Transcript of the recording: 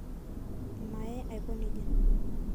Mayee aaiko neja